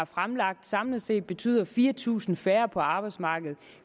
fremsat samlet set betyder fire tusind færre på arbejdsmarkedet